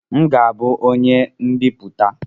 M ga-abụ onye mbiputa